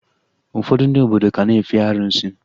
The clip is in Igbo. Ụfọdụ ndị obodo ka na-efe arụsị